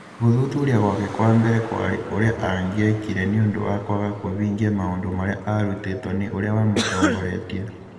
Gũthuthuria gwake kwa mbere kwarĩ ũrĩa angĩekire nĩ ũndũ wa kwaga kũvingia maũndũ marĩa aarutĩtwo nĩ ũrĩa wamũtongoretie.